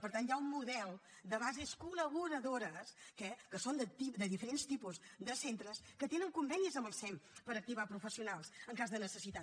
per tant hi ha un model de bases col·laboradores eh que són de diferents tipus de centres que tenen convenis amb el sem per activar professionals en cas de necessitat